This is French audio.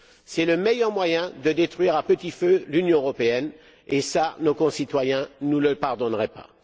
C'est le meilleur moyen de détruire à petit feu l'Union européenne et ça, nos concitoyens ne nous le pardonneraient pas.